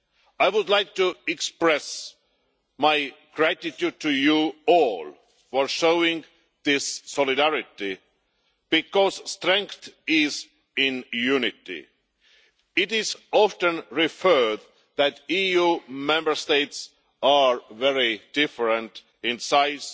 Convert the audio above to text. I would like to express my gratitude to you all for showing this solidarity, because strength is in unity. It is often noted that EU Member States are very different in size,